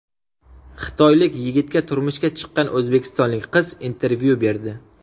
Xitoylik yigitga turmushga chiqqan o‘zbekistonlik qiz intervyu berdi .